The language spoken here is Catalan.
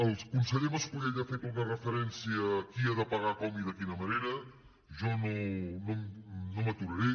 el conseller mascolell ha fet una referència a qui ha de pagar com i de quina manera jo no m’hi aturaré